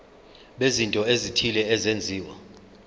bezinto ezithile ezenziwa